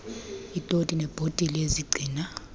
iitoti neebhotile ezigcina